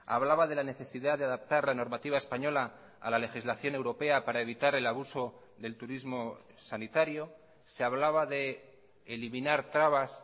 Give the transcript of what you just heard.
hablaba de la necesidad de adaptar la normativa española a la legislación europea para evitar el abuso del turismo sanitario se hablaba de eliminar trabas